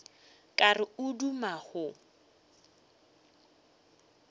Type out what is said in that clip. ka re o duma go